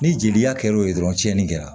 Ni jeliya kɛr'o ye dɔrɔn cɛnni kɛra